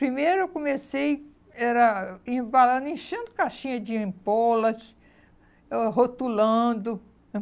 Primeiro eu comecei, era embalando, enchendo caixinha de empolas, oh rotulando